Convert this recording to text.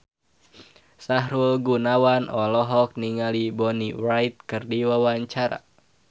Sahrul Gunawan olohok ningali Bonnie Wright keur diwawancara